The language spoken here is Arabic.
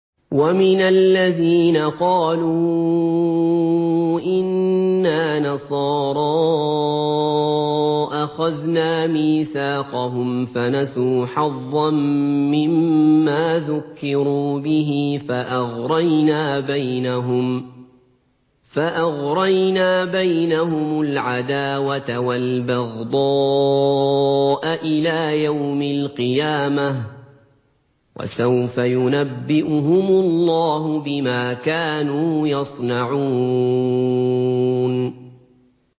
وَمِنَ الَّذِينَ قَالُوا إِنَّا نَصَارَىٰ أَخَذْنَا مِيثَاقَهُمْ فَنَسُوا حَظًّا مِّمَّا ذُكِّرُوا بِهِ فَأَغْرَيْنَا بَيْنَهُمُ الْعَدَاوَةَ وَالْبَغْضَاءَ إِلَىٰ يَوْمِ الْقِيَامَةِ ۚ وَسَوْفَ يُنَبِّئُهُمُ اللَّهُ بِمَا كَانُوا يَصْنَعُونَ